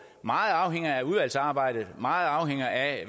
meget afhænger af udvalgsarbejdet og meget afhænger af